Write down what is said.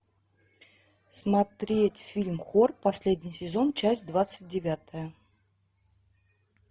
смотреть фильм хор последний сезон часть двадцать девятая